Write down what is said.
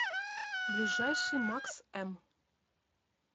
ближайший макс м